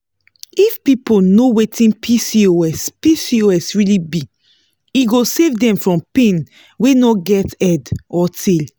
if people know wetin pcos pcos really be e go save dem from pain wey no get head or tail